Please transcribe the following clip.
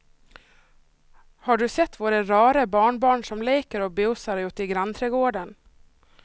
Har du sett våra rara barnbarn som leker och busar ute i grannträdgården!